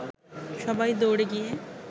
সবাই দৌড়ে গিয়ে